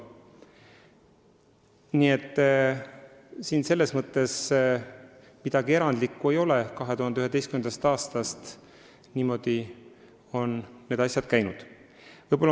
Nii et siin midagi erandlikku ei ole, 2011. aastast on need asjad niimoodi käinud.